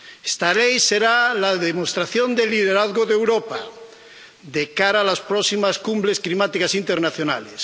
Esta Ley será la demostración del liderazgo de Europa, de cara a las próximas cumbres climáticas internacionales